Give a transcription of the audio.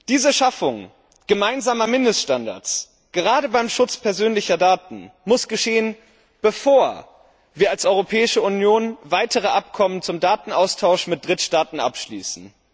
Diese Schaffung gemeinsamer Mindeststandards gerade beim Schutz persönlicher Daten muss erfolgen, bevor wir als Europäische Union weitere Abkommen zum Datenaustausch mit Drittstaaten abschließen.